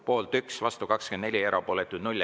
Poolt 1, vastu 24, erapooletuid 0.